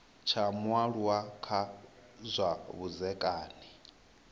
tsha mualuwa kha zwa vhudzekani